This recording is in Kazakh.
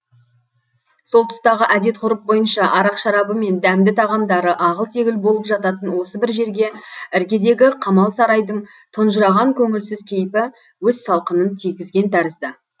сол тұстағы әдет ғұрып бойынша арақ шарабы мен дәмді тағамдары ағыл тегіл болып жататын осы бір жерге іргедегі қамал сарайдың тұнжыраған көңілсіз кейпі өз салқынын тигізген тәрізді